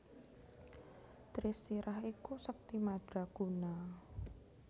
Trisirah iku sekti madraguna